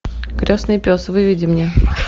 крестный пес выведи мне